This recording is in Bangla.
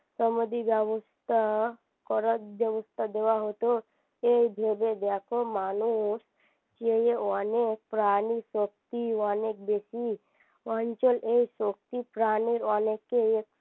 ব্যবস্থা করা যে অবস্থা দেওয়া হতো এই ভেবে যে এত মানুষ এই অনেক প্রানি সত্যি অনেক বেশি অঞ্চল এই প্রানি অনেকেই